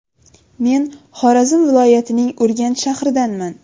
Men Xorazm viloyatining Urganch shahridanman.